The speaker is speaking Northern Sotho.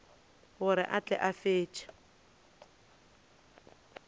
gore a tle a fetše